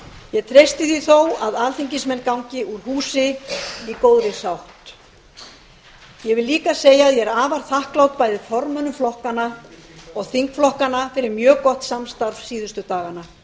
ég treysti því þó að alþingismenn gangi úr húsi í góðri sátt ég vil líka segja að ég er afar þakklát bæði formönnum flokkanna og þingflokkanna fyrir mjög gott samstarf síðustu dagana